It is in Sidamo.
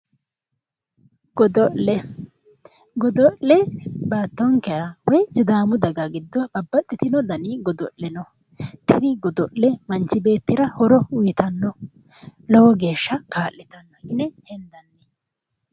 godo'le godo'le baattonkera woyi Sidaamu daga giddo babbaxitino dani godo'le no. tini godo'le manchi beettira horo uuyiitanno lowo geeshsha kaa'lotanno.